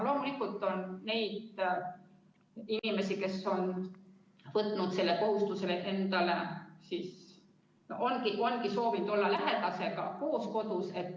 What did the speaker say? Loomulikult on neid inimesi, kes ongi võtnud selle kohustuse endale ja on soovinud olla lähedasega koos kodus.